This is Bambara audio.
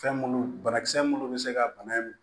Fɛn minnu banakisɛ minnu bɛ se ka bana in